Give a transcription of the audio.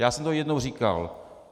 Já jsem to jednou říkal.